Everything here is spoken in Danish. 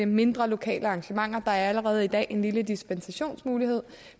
mindre lokale arrangementer der er allerede i dag en lille dispensationsmulighed